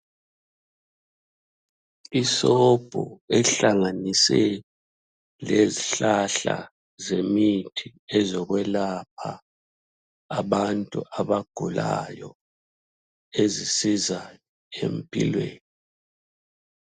Isobho ehlanganiswe lezihlahla zemithi ezokwelapha abantu abagulayo ezisiza empilweni.